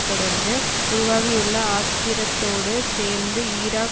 தொடர்ந்து உருவாகியுள்ள ஆத்திரத்தோடு சேர்ந்து ஈராக்